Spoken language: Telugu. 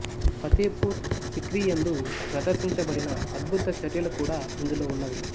ఫతేఫూరు సిక్రీ యందు ప్రదర్శించబడిన అద్బుత చర్యలు కూడా ఇందులో ఉన్నవి